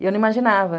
E eu não imaginava.